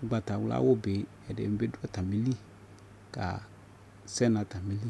ʋgbatawla awʋ bi ɛdini bi dʋ atamili kasɛ nʋ atamili